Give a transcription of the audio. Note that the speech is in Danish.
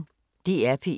DR P1